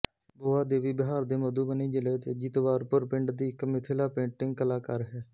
boa Devi Bihar ਦੇ ਮਧੂਬਨੀ ਜ਼ਿਲੇ ਦੇ ਜੀਤਵਾਰਪੁਰ ਪਿੰਡ ਦੀ ਇਕ ਮਿਥਿਲਾ ਪੇਂਟਿੰਗ ਕਲਾਕਾਰ ਹੈ